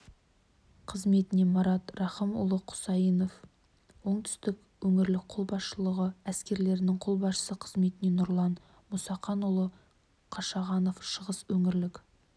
қызметіне марат рахымұлы құсайынов оңтүстік өңірлік қолбасшылығы әскерлерінің қолбасшысы қызметіне нұрлан мұсақанұлы қашағанов шығыс өңірлік